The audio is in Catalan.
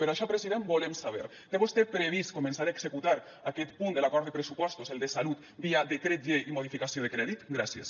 per això president volem saber té vostè previst començar a executar aquest punt de l’acord de pressupostos el de salut via decret llei i modificació de crèdit gràcies